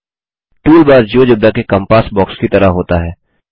tool bar GeoGebra के compass box की तरह होता है